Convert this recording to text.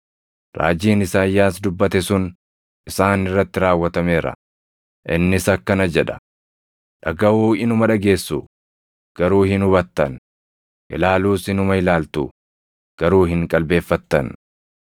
Raajiin Isaayyaas dubbate sun isaan irratti raawwatameera; innis akkana jedha: “ ‘Dhagaʼuu inuma dhageessu; garuu hin hubattan; ilaaluus inuma ilaaltu; garuu hin qalbeeffattan.